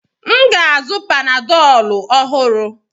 M ga-azụ panadọlu ọhụrụ.